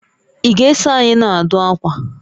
Ị ga-eso anyị na-adụ akwa?